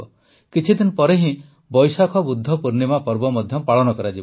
କିଛିଦିନ ପରେ ହିଁ ବୈଶାଖ ବୁଦ୍ଧ ପୂର୍ଣ୍ଣିମା ପର୍ବ ମଧ୍ୟ ପାଳନ କରାଯିବ